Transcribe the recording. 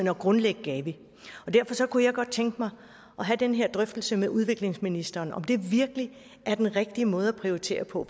at grundlægge gavi og derfor kunne jeg godt tænke mig at have den her drøftelse med udviklingsministeren om om det virkelig er den rigtige måde at prioritere på